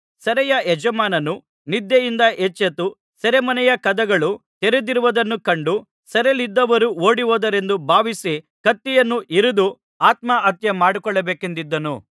ಸೆರೆಯ ಯಜಮಾನನು ನಿದ್ದೆಯಿಂದ ಎಚ್ಚೆತ್ತು ಸೆರೆಮನೆಯ ಕದಗಳು ತೆರೆದಿರುವುದನ್ನು ಕಂಡು ಸೆರೆಯಲ್ಲಿದ್ದವರು ಓಡಿಹೋದರೆಂದು ಭಾವಿಸಿ ಕತ್ತಿಯನ್ನು ಹಿರಿದು ಆತ್ಮಹತ್ಯೆ ಮಾಡಿಕೊಳ್ಳಬೇಕೆಂದಿದ್ದನು